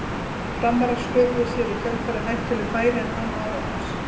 Framarar sköpuðu sér í kjölfarið hættuleg færi en án árangurs.